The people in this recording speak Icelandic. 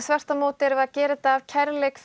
þvert á móti erum við að gera þetta af kærleik